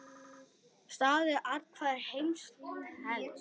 Staður athvarf heima telst.